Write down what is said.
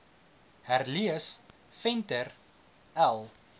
herlees venter l